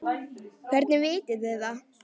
Hvernig vitið þið það?